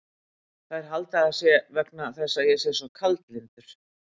Þær halda að það sé vegna þess að ég sé svo kaldlyndur.